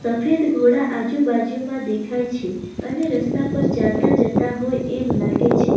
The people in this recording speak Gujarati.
સફેદ ઘોડા આજુબાજુમાં દેખાય છે અને રસ્તા પર ચાલતા જતા હોય એમ લાગે છે.